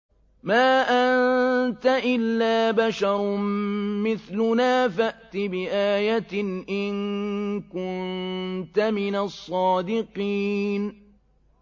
مَا أَنتَ إِلَّا بَشَرٌ مِّثْلُنَا فَأْتِ بِآيَةٍ إِن كُنتَ مِنَ الصَّادِقِينَ